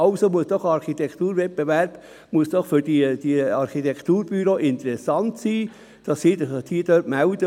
Also muss doch ein Architekturwettbewerb für diese Architekturbüros interessant sein, wenn sie sich melden.